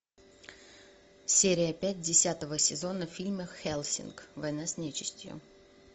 серия пять десятого сезона фильма хеллсинг война с нечистью